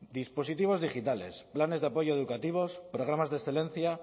dispositivos digitales planes de apoyo educativos programas de excelencia